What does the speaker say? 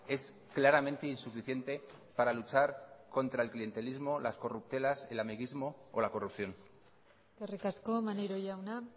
es claramente insuficiente para luchar contra el clientelismo las corruptelas el amiguismo o la corrupción eskerrik asko maneiro jauna